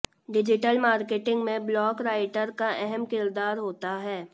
digital marketing में blog writer का अहम किरदार होता है